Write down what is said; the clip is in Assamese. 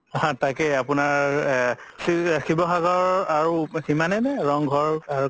হা তাকেই আপুনাৰ এ শিৱসাগৰ আৰু সিমানেনে আৰু ৰংঘৰ আৰু